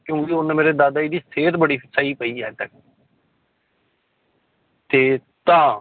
ਕਿਉਂਕਿ ਮੇਰੇ ਦਾਦਾ ਜੀ ਦੀ ਸਿਹਤ ਬੜੀ ਸਹੀ ਪਈ ਹਜੇ ਤੱਕ ਤੇ ਤਾਂ।